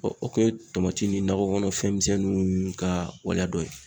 o kun ye tamati ni nakɔkɔnɔ fɛnmisɛnninw ka waleya dɔ ye.